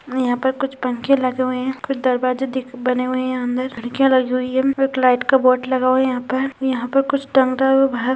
यहाँ पे कुछ पंखे लगे हुए हैं कुछ दरवाजे दिख बने हुए है अंदर खिड़किया लगी हुई हैं एक लाइट का बोर्ड लगा हुआ यहां पर यहां पर कुछ टंगा हुआ है बहार --